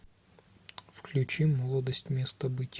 включи молодость местобыть